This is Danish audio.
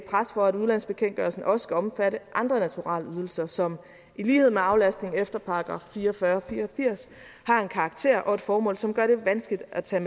for at udlandsbekendtgørelsen også skal omfatte andre naturalieydelser som i lighed med aflastning efter § fire og fyrre fire og firs har en karakter og et formål som gør det vanskeligt at tage